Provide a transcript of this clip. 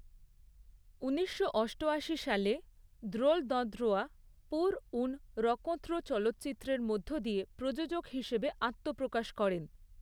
ঊনিশশো অষ্টআশি সালে দ্রোল দঁদ্রোয়া, 'পুর উ্যন রঁকোঁত্র' চলচ্চিত্রের মধ্য দিয়ে প্রযোজক হিসেবে আত্মপ্রকাশ করেন।